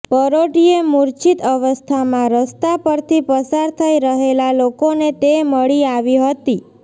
પરોઢિયે મૂર્છિત અવસ્થામાં રસ્તા પરથી પસાર થઇ રહેલા લોકોને તે મળી આવી હતી